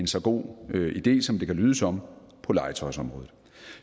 så god idé som det kan lyde som på legetøjsområdet